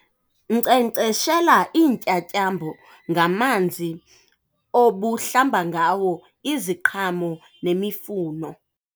Nkcenkceshela iintyatyambo ngamanzi obuhlamba ngawo iziqhamo nemifuno.